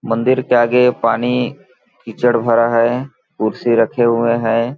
मंदिर के आगे पानी कीचड़ भरा है कुर्सी रखे हुए हैं।